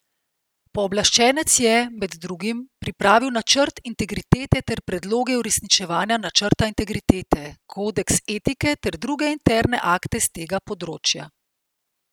Pooblaščenec je, med drugim, pripravil načrt integritete ter predloge uresničevanja načrta integritete, kodeks etike ter druge interne akte s tega področja.